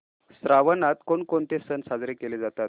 श्रावणात कोणकोणते सण साजरे केले जातात